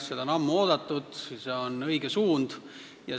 Seda on ammu oodatud, see on õige suund.